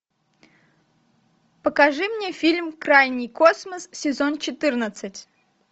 покажи мне фильм крайний космос сезон четырнадцать